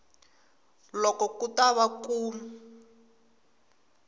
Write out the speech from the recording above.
loko ku ta va ku